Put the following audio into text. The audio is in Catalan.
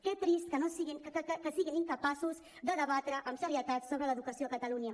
que trist que siguin incapaços de debatre amb serietat sobre l’educació a catalunya